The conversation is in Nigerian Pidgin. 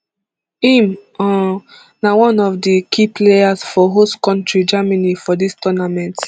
im um na one of di key players for host kontri germany for dis tournament